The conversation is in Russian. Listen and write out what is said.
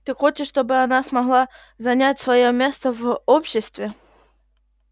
ты хочешь чтобы она смогла занять своё место в обществе